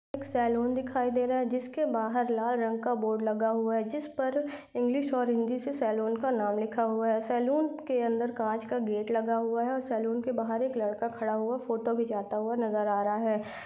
एक सलून दिखाइ दे रहा है जिसके बाहर लाल रंग का बोर्ड लगा हुआ है जिस पर इंग्लिश और हिन्दी से सलून का नाम लिखा हुआ है। सलून के अंदर कांच का गेट लगा हुआ है और सलून के बाहर एक लड़का खड़ा हुआ फोटो घिचाता हुआ नजर आ रहा है।